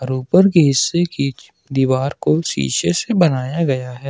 ऊपर की हिस्से की दीवार को शीशे से बनाया गया है।